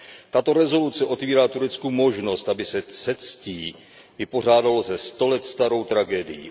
Tato rezoluce otvírá Turecku možnost, aby se se ctí vypořádalo se sto let starou tragédií.